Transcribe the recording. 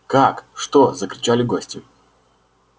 как что закричали гости